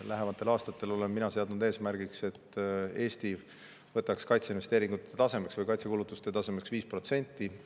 Lähematel aastatel olen mina seadnud eesmärgiks, et Eesti võtaks kaitseinvesteeringute või kaitsekulutuste tasemeks 5%.